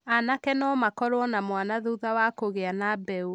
Anake no makorũo na mwana thutha wa kũgĩa na mbeũ.